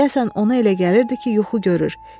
Deyəsən ona elə gəlirdi ki, yuxu görür.